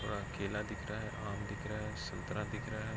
थोड़ा केला दिख रहा हैआम दिख रहा हैसंतरा दिख रहा है।